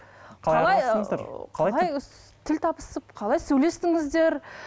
қалай қалай тіл табысып қалай сөйлестіңіздер